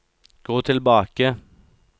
gå tilbake